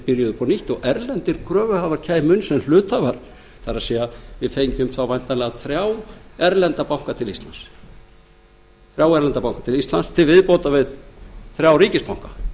byrjuðu upp á nýtt og erlendir kröfuhafar kæmu inn sem hluthafar það er við fengjum þá væntanlega þrjá erlenda banka til íslands til viðbótar við þrjá ríkisbanka